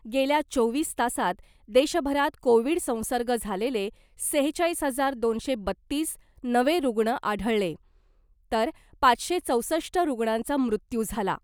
गेल्या चोवीस तासात देशभरात कोविड संसर्ग झालेले सेहेचाळीस हजार दोनशे बत्तीस नवे रुग्ण आढळले , तर पाचशे चौसष्ट रुग्णांचा मृत्यू झाला .